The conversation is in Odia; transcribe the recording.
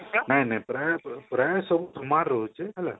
ନାଇଁ ନାଇଁ ପ୍ରାଏ ସବୁ ସମାନ ରହୁଛି hello